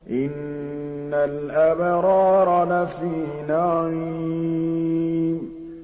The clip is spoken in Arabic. إِنَّ الْأَبْرَارَ لَفِي نَعِيمٍ